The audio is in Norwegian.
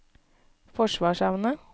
forsvarsevne